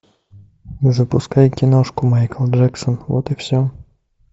запускай киношку майкл джексон вот и все